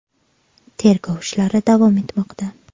Tergov ishlari davom etmoqda.